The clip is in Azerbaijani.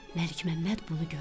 Məlik Məmməd bunu gördü.